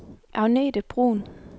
Agnete Bruun